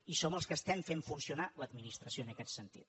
i som els que estem fent funcionar l’administració en aquest sentit